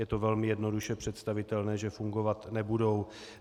Je to velmi jednoduše představitelné, že fungovat nebudou.